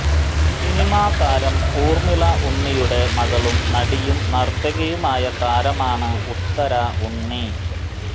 cinema താരം ഊർമിള ഉണ്ണിയുടെ മകളും നടിയും നിർത്തികിയുമായ താരമാണ് ഉത്തര ഉണ്ണി